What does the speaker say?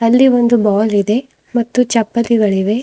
ಅಲ್ಲಿ ಒಂದು ಬಾಲ್ ಇದೆ ಮತ್ತು ಚಪ್ಪಲಿಗಳಿವೆ.